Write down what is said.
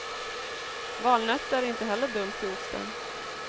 Valnötter är inte heller dumt till osten.